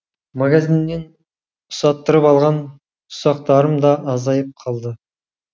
магазиннен ұсаттырып алған ұсақтарым да азайып қалды